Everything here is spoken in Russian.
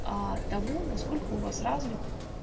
аа того насколько у вас развит